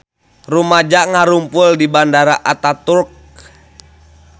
Rumaja ngarumpul di Bandara Ataturk